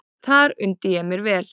Þar undi ég mér vel.